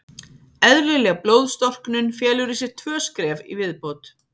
Eðlileg blóðstorknun felur í sér tvö skref í viðbót.